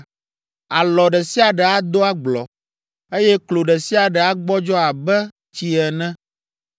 Alɔ ɖe sia ɖe ado agblɔ, eye klo ɖe sia ɖe agbɔdzɔ abe tsi ene.